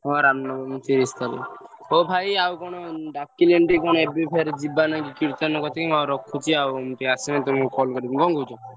ହଁ ରାମ ନବମୀ ତିରିଶ୍ ତାରିଖ୍ ହୋ ଭାଇ ଆଉ କଣ ଡାକିଲେଣି କଣ ଟିକେ ଏବେ ଫେରେ ଯିବା ନାଗି କୀର୍ତ୍ତନ କତିକି ମୁଁ ରଖୁଚି ଆଉ ଆସିନେ ତମକୁ call କଁ କହୁଚ?